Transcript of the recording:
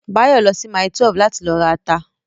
Báyọ̀ lọ sí mile 12 láti lọ ra ata